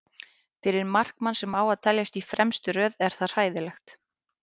Fyrir markmann sem á að teljast í fremstu röð er það hræðilegt.